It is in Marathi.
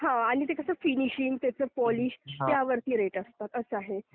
हा आणि ते कसं फिनिशिंग, त्याचं पॉलिश त्यावरती रेट असतात, असं आहे.